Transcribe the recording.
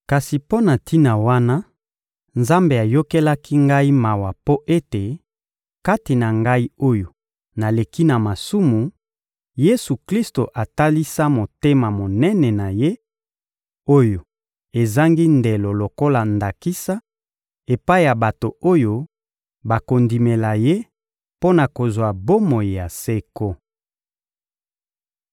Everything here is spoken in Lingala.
Kasi mpo na tina wana, Nzambe ayokelaki ngai mawa mpo ete, kati na ngai oyo naleki na masumu, Yesu-Klisto atalisa motema monene na Ye, oyo ezangi ndelo lokola ndakisa epai ya bato oyo bakondimela Ye mpo na kozwa bomoi ya seko.